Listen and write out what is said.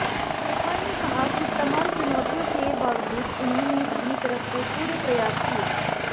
पठान ने कहा कि तमाम चुनौतियों के बावजूद उन्होंने अपनी तरफ से पूरे प्रयास किए